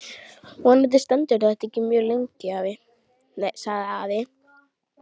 Vonandi stendur þetta ekki mjög lengi sagði afi.